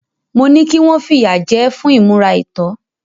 Mo ní kí wọ́n fìyà jẹ ẹ́ fún ìmúra àìtọ́.